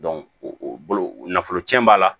o bolo nafolo cɛn b'a la